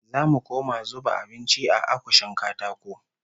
Zamu koma zuba abinci a akushin katako